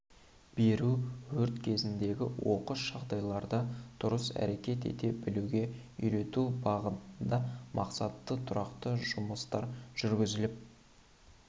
беру өрт кезіндегі оқыс жағдайларда дұрыс әрекет ете білуге үйрету бағытында мақсатты тұрақты жұмыстар жүргізіліп